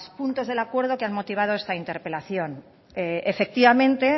puntos del acuerdo que han motivado esta interpelación efectivamente